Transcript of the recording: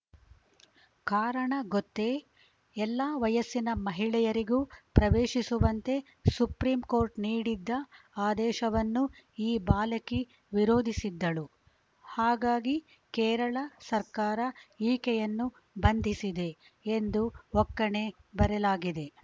ಕಾರಣ ಗೊತ್ತೇ ಎಲ್ಲಾ ವಯಸ್ಸಿನ ಮಹಿಳೆಯರಿಗೂ ಪ್ರವೇಶಿಸುವಂತೆ ಸುಪ್ರೀಂ ಕೋರ್ಟ್‌ ನೀಡಿದ್ದ ಆದೇಶವನ್ನು ಈ ಬಾಲಕಿ ವಿರೋಧಿಸಿದ್ದಳು ಹಾಗಾಗಿ ಕೇರಳ ಸರ್ಕಾರ ಈಕೆಯನ್ನು ಬಂಧಿಸಿದೆ ಎಂದು ಒಕ್ಕಣೆ ಬರೆಲಾಗಿದೆ